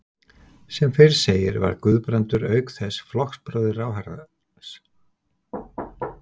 Sem fyrr segir var Guðbrandur auk þess flokksbróðir ráðherrans og hafði þegið af ríkisstjórninni heiðursnafnbót.